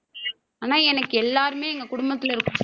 ஆனா எனக்கு எல்லாருமே எங்க குடும்பத்தில இருக்க~